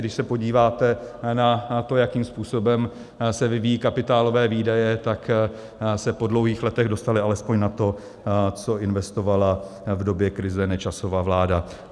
Když se podíváte na to, jakým způsobem se vyvíjí kapitálové výdaje, tak se po dlouhých letech dostaly alespoň na to, co investovala v době krize Nečasova vláda.